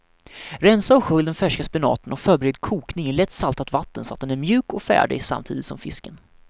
Rensa och skölj den färska spenaten och förbered kokning i lätt saltat vatten så att den är mjuk och färdig samtidigt som fisken.